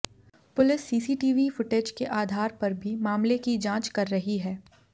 police CCTV footage के आधार पर भी मामले की जांच कर रही है